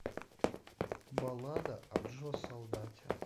баллада о джо солдате